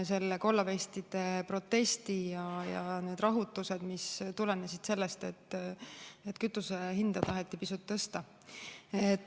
Toimus kollavestide protest ja rahutused, mis tulenesid sellest, et kütuse hinda taheti pisut tõsta.